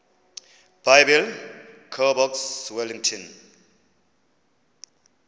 biblecor box wellington